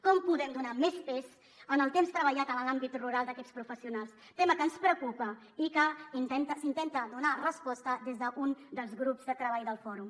com podem donar més pes al temps treballat en l’àmbit rural d’aquests professionals tema que ens preocupa i a què s’intenta donar resposta des d’un dels grups de treball del fòrum